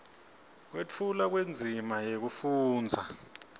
kwetfulwa kwendzima yekufundza